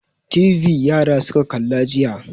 TV yara suka kalla jiya.